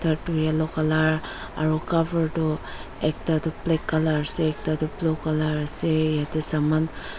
yellow colour aro cover toh ekta toh blackcolour ase ekta toh blue colour ase yatae saman --